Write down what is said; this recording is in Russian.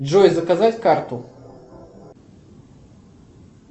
джой заказать карту